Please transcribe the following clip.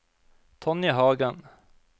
Tonje Hagen